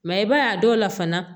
i b'a ye a dɔw la fana